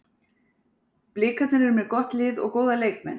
Blikarnir eru með gott lið og góða leikmenn.